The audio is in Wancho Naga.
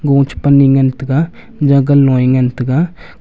go chi pan a ngan tega Jagan low a ngan tega.